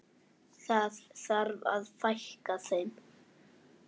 Það þarf að fækka þeim.